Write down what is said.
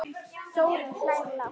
Þórunn hlær lágt.